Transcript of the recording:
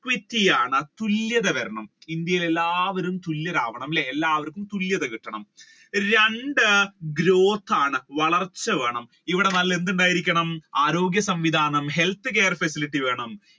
equity ആണ് തുല്യത വരണം ഇന്ത്യയിൽ എല്ലാവരും തുല്യർ ആവണം അല്ലെ തുല്യത കിട്ടണം അല്ലെ രണ്ട് growth ആണ് വളർച്ച വേണം ഇവിടെ എന്തുണ്ടായിരിക്കണം ആരോഗ്യ സംവിധാനം അല്ലെങ്കിൽ health care facility